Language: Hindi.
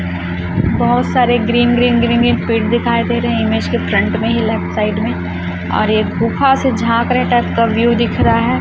बहोत सारे ग्रीन ग्रीन ग्रीन पेड़ दिखाई दे रहे है इमेज के फ्रंट में ही लेफ्ट साइड में और एक गुफा से झांक रहे है टाइप का व्यू दिख रहा है।